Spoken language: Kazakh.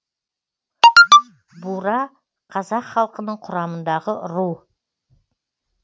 бура қазақ халқының құрамындағы ру